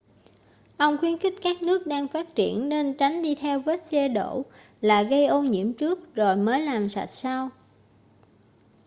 ông khuyến khích các nước đang phát triển nên tránh đi theo vết xe đổ là gây ô nhiễm trước rồi mới làm sạch sau